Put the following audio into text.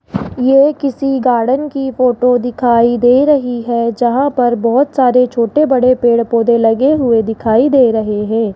ये किसी गार्डन की फोटो दिखाई दे रही है जहां पर बहोत सारे छोटे-बड़े पेड़-पौधे लगे हुए दिखाई दे रहे हैं।